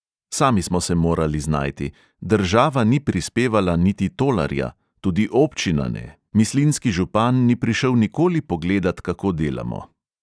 Sami smo se morali znajti, država ni prispevala niti tolarja, tudi občina ne, mislinjski župan ni prišel nikoli pogledat, kako delamo.